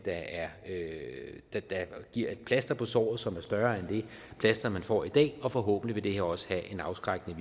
der giver et plaster på såret som er større end det plaster man får i dag og forhåbentlig vil det her også have en afskrækkende